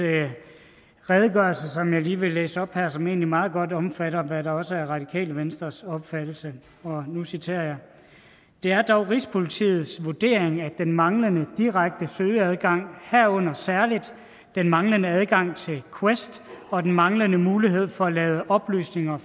redegørelse som jeg lige vil læse op her og som egentlig meget godt omfatter hvad der også er radikale venstres opfattelse og nu citerer jeg det er dog rigspolitiets vurdering at den manglende direkte søgeadgang herunder særligt den manglende adgang til quest og den manglende mulighed for at lade oplysninger